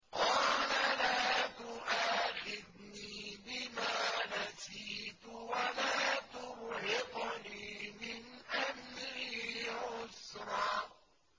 قَالَ لَا تُؤَاخِذْنِي بِمَا نَسِيتُ وَلَا تُرْهِقْنِي مِنْ أَمْرِي عُسْرًا